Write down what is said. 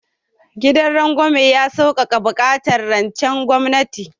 Gidan rangwamen ya saukaka buƙatar rancen gwamnati